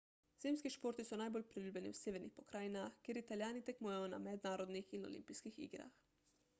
zimski športi so najbolj priljubljeni v severnih pokrajinah kjer italijani tekmujejo na mednarodnih in olimpijskih igrah